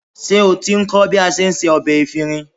Ṣé o ti ń kọ́ bí a se ọbẹ efinrin?